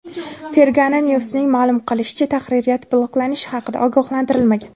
Fergana News’ning ma’lum qilishicha, tahririyat bloklanish haqida ogohlantirilmagan.